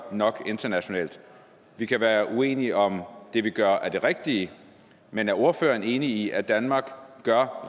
nok internationalt vi kan være uenige om det vi gør er det rigtige men er ordføreren enig i at danmark gør